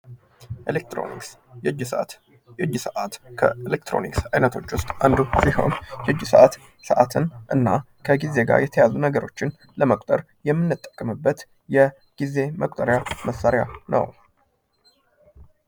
ኤሌክትሮኒክስ ፦ የእጅ ሰዓት ፦ የእጅ ሰዓት ከኤሌክትሮኒክስ አይነቶች ውስጥ አንዱ ሲሆን የእጅ ሰዓት ፤ ስዓትን እና ከጊዜጋ የተያያዙ ነገሮችን ለመቁጠር የምንጠቀምበት የጊዜ መቁጠሪያ መሣሪያ ነው ።